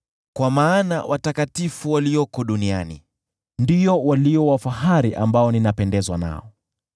Kwa habari ya watakatifu walioko duniani, ndio walio wa fahari ambao ninapendezwa nao.